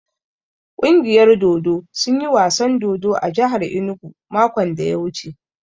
Ƙungiyar dodo sun yi wasan dodo a jahar inugu makon da ya wuce.